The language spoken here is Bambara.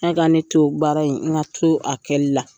N ka ka ne to baara in n ka to a kɛli la.